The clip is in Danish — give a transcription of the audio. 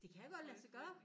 Det kan godt lade sig gøre